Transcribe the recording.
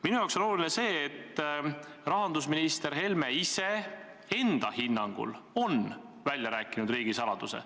Minule on oluline see, et rahandusminister Helme ise enda hinnangul on välja rääkinud riigisaladuse.